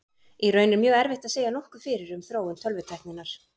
Í raun er mjög erfitt að segja nokkuð fyrir um þróun tölvutækninnar.